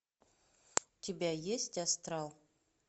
у тебя есть астрал